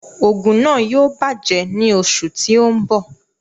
Òògùn náà yóò bàjẹ́ ní oṣù tí ó ń bọ̀